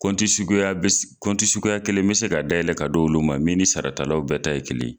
Kɔnti suguya bɛ si kɔnti suguya kelen bɛ se ka dayɛlɛ ka d'olu ma min ni sarata law bɛɛ ta ye kelen.